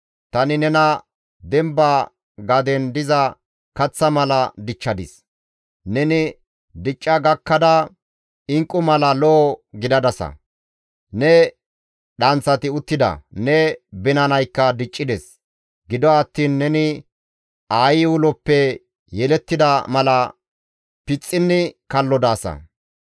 Tani nena demba gaden diza kaththa mala dichchadis; neni dicca gakkada inqqu mala al7o gidadasa; ne dhanththati uttida; ne binanaykka diccides; gido attiin neni aayi uloppe yelettida mala pixxinni kallo daasa.